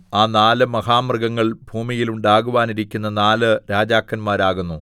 ആ നാല് മഹാമൃഗങ്ങൾ ഭൂമിയിൽ ഉണ്ടാകുവാനിരിക്കുന്ന നാല് രാജാക്കന്മാരാകുന്നു